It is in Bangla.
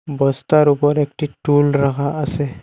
বস্তার উপর একটি টুল রাহা আসে।